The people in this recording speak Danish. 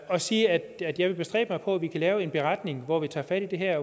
og sige at jeg vil bestræbe mig på at vi kan lave en beretning hvor vi tager fat i det her